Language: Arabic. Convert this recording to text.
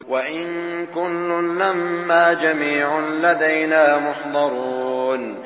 وَإِن كُلٌّ لَّمَّا جَمِيعٌ لَّدَيْنَا مُحْضَرُونَ